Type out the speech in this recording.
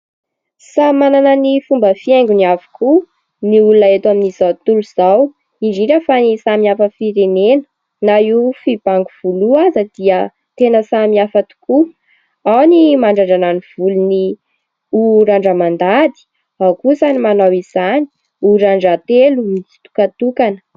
Samy manana ny fomba fihaingony avokoa ny olona eto amin'izao tontolo izao indrindra fa ny samy hafa firenena. Na io fibango volo io aza dia tena samy hafa tokoa. Ao ny mandrandrana ny volony ho randra-mandady, ao kosa ny manao izany ho randra-telo mitsitokantokana.